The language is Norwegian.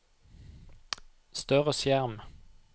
større skjerm